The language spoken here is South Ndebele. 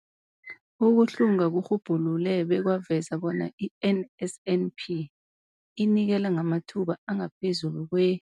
Ukuhlunga kurhubhulule bekwaveza bona i-NSNP inikela ngamathuba angaphezulu kwe-